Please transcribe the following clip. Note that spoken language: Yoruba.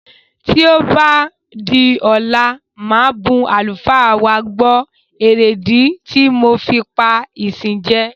Tí ó bá di ọ̀la màá bun àlùfáà wa gbọ̀ èrèdí ti mo fi pá ìsìn jẹ.